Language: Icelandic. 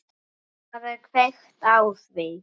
Það er kveikt á því.